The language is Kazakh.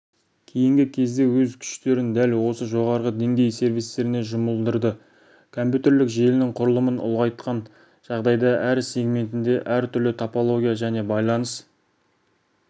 кейінгі кезде өз күштерін дәл осы жоғарғы деңгей сервистеріне жұмылдырды компьютерлік желінің құрылымын ұлғайтқан жағдайда әр сегментінде әр түрлі топология және байланыс